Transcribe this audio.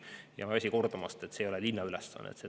Ma ei väsi kordamast, et see ei ole linna ülesanne.